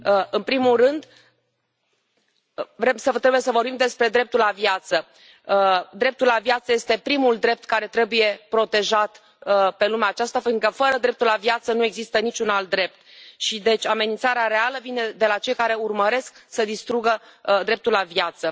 În primul rând, trebuie să vorbim despre dreptul la viață. Dreptul la viață este primul drept care trebuie protejat pe lumea aceasta pentru că fără dreptul la viață nu există nici un alt drept și, deci, amenințarea reală vine de la cei care urmăresc să distrugă dreptul la viață.